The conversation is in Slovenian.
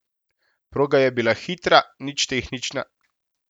Proga je bila hitra, nič tehnična.